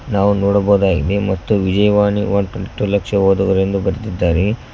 ನಾವು ನೋಡಬಹುದಾಗಿದೆ Vijayavani one twenty two lakh ಓದುಗರೆಂದು ಬರೆದಿದ್ದಾರೆ.